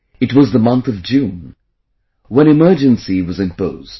It was the month of June when emergency was imposed